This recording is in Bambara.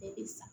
Bɛɛ bɛ sa